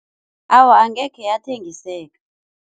Awa, angekhe yathengiseka.